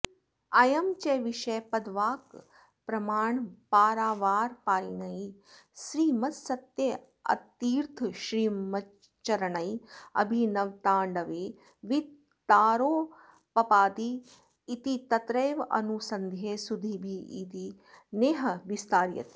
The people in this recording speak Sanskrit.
अयं च विषयः पदवाक्यप्रमाणपारावारपारीणैः श्रीमत्सत्यनाथतीर्थश्रीमच्चरणैः अभिनवताण्डवे विस्तरेणोपपादित इति तत्रैवानुसन्धेयः सुधीभिरिति नेह विस्तार्यते